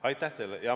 Aitäh teile!